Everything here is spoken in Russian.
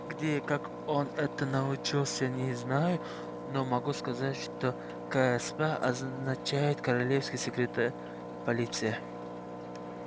где и как он этому научился не знаю но могу сказать что ксп означает корелианская секретная полиция